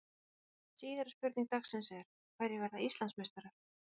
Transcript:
Síðari spurning dagsins er: Hverjir verða Íslandsmeistarar?